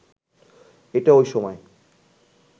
এটা ওই সময়